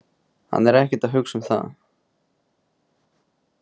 Hann er ekkert að hugsa um það.